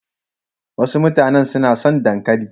Wasu mutanen su na son dankali.